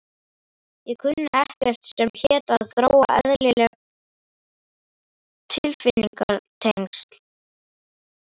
Ég kunni ekkert sem hét að þróa eðlileg tilfinningatengsl.